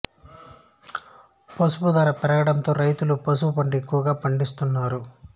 పసుపు ధర పెరగడంతో రైతులు పసుపు పంట ఎక్కువగా పండిస్తున్నారు